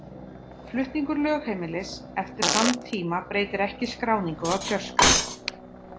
Flutningur lögheimilis eftir þann tíma breytir ekki skráningu á kjörskrá.